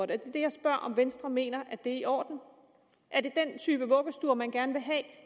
det er det jeg spørger om venstre mener er i orden er det den type vuggestuer man gerne vil have